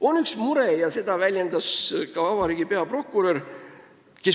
On üks mure, mida on väljendanud ka vabariigi peaprokurör.